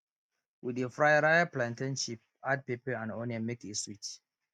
we dey fry ripe plantain chip add pepper and onion make e sweet